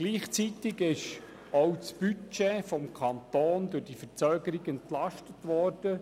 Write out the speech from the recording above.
Gleichzeitig wurde durch die Verzögerung auch das Budget des Kantons entlastet.